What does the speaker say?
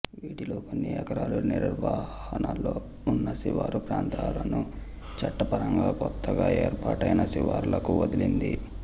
వీటిలో కొన్ని ఎకరాలు నిర్హణలో ఉన్న శివారు ప్రాంతాలను చట్టపరంగా కొత్తగా ఏర్పాటైన శివార్లకు వదిలింది